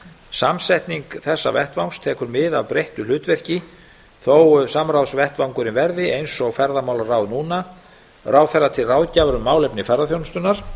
samsetning þessa vettvangs tekur mið af breyttu hlutverki þó samráðsvettvangurinn verði eins og ferðamálaráð núna ráðherra til ráðgjafar um málefni ferðaþjónustunnar